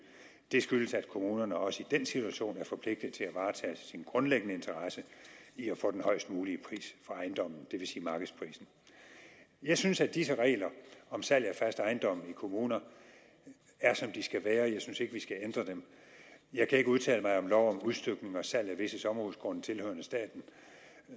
det skyldes at kommunerne også i den situation er forpligtet til at varetage sin grundlæggende interesse i at få den højest mulige pris for ejendommen det vil sige markedsprisen jeg synes at disse regler om salg af fast ejendom i kommuner er som de skal være jeg synes ikke at vi skal ændre dem jeg kan ikke udtale mig om lov om udstykning og salg af visse sommerhusgrunde tilhørende staten